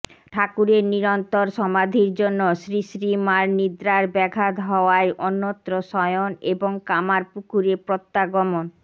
ঠাকুরের নিরন্তর সমাধির জন্য শ্রীশ্রীমার নিদ্রার ব্যাঘাত হওয়ায় অন্যত্র শয়ন এবং কামারপুকুরে প্রত্যাগমন